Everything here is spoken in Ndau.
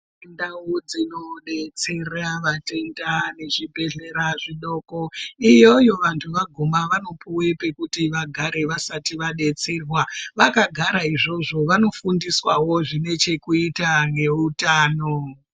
Ndau dzinodetsera vatenda vezvibhedhlera zvidoko iyoyo vantu vaguma vanopuwa pekuti vagare vasati vadetserwa vakagara izvozvo vanofundiswawo zvine chekuita ngeutano.